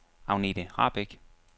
Agnethe Rahbek